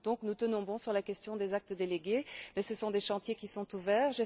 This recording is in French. Nous tenons donc bon sur la question des actes délégués mais ce sont des chantiers qui sont ouverts.